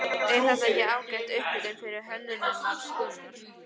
Er þetta ekki ágæt upphitun fyrir Hönnunarmars, Gunnar?